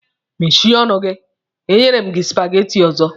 Meshie ọnụ gị! e nyere m gị supageti ọzọ!